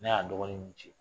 Ne y'a dɔgɔnin nunnu ci.